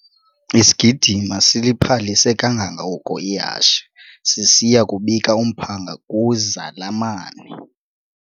Isigidimi siliphalise kangangoko ihashe sisiya kubika umphanga kwizalamane.